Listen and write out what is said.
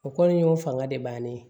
O kɔni y'o fanga de bannen ye